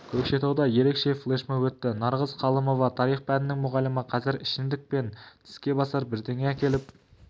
көкшетауда ерекше флешмоб өтті нарғыз қалымова тарих пәнінің мұғалімі қазір ішімдік пен тіске басар бірдеңе әкеліп